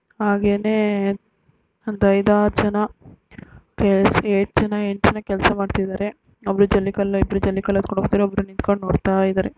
ಹಾಗೇನೇ ಒಂದು ಐದಾರು ಜನ ಏಳು ಜನ ಎಂಟು ಜನ ಕೆಲಸ ಮಾಡ್ತಾಯಿದಾರೆ ಒಬ್ರು ಜಲ್ಲಿ ಕಲ್ಲು ಇಬ್ರು ಎತ್ಕೊಂಡು ಹೋಗ್ತಾರೆ ಒಬ್ರು ನಿಂತ್ಕೊಂಡು ನೋಡ್ತಾ ಇದ್ದಾರೆ.